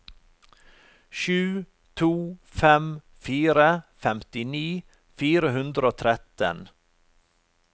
sju to fem fire femtini fire hundre og tretten